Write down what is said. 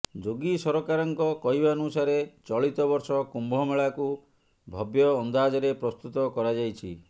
ଯୋଗୀ ସରକାରଙ୍କ କହିବାନୁସାରେ ଚଳିତ ବର୍ଷ କୁମ୍ଭମେଳାକୁ ଭବ୍ୟଅନ୍ଦାଜରେ ପ୍ରସ୍ତୁତ କରାଯାଇଛି